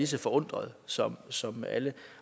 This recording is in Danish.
så forundret som som alle